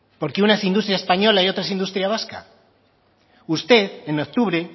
porque una es industria española y otra es industria vasca usted en octubre